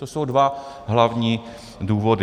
To jsou dva hlavní důvody.